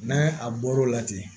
N'a a bɔr'o la ten